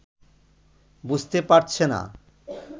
বুঝতে পারছে না